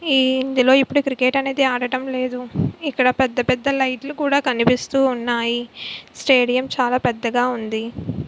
ఇ ఇందిలోఇప్పుడు క్రికెట్ అనేది ఆడడం లేదు ఇక్కడ పెద్ద పెద్ద లైట్ లు కూడా కనిపిస్తున్నాయి స్టేడియం చాల పెద్దగా వుంది.